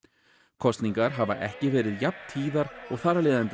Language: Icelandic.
kosningar hafa ekki verið jafn tíðar og þar af leiðandi